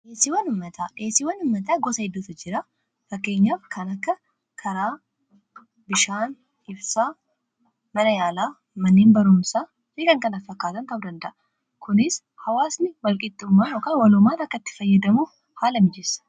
dheesiiwwan uummataa gosa hedduutu jira. Faayidaa madaalamuu hin dandeenye fi bakka bu’iinsa hin qabne qaba. Jireenya guyyaa guyyaa keessatti ta’ee, karoora yeroo dheeraa milkeessuu keessatti gahee olaanaa taphata. Faayidaan isaa kallattii tokko qofaan osoo hin taane, karaalee garaa garaatiin ibsamuu danda'a.